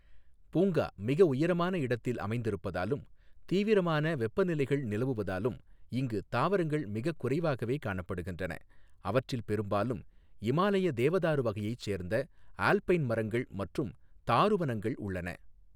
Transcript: பூங்கா மிக உயரமான இடத்தில் அமைந்திருப்பதாலும் தீவிரமான வெப்பநிலைகள் நிலவுவதாலும் இங்கு தாவரங்கள் மிகக் குறைவாகவே காணப்படுகின்றன, அவற்றில் பெரும்பாலும் இமாலய தேவதாரு வகையைச் சேர்ந்த ஆல்பைன் மரங்கள் மற்றும் தாருவனங்கள் உள்ளன